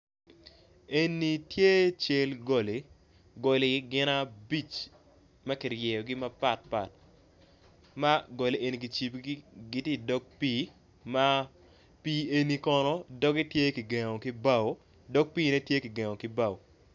Eni tye cal goli, goli gin abic ma kiryegi mapatpat, ma goli eni kicibogi giti i dog pii ma pii eni kono gengo tye kigengo ki bao, dog piine tye kigengo ki bao.